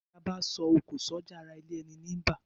Bí abá so òkò sójà ará ilé eni ní bá